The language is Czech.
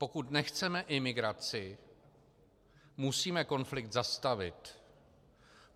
Pokud nechceme imigraci, musíme konflikt zastavit.